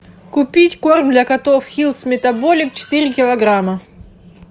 купить корм для котов хиллс метаболик четыре килограмма